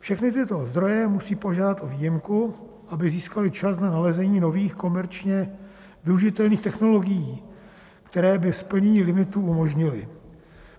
Všechny tyto zdroje musí požádat o výjimku, aby získaly čas na nalezení nových komerčně využitelných technologií, které by splnění limitu umožnily.